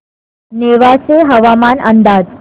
नेवासे हवामान अंदाज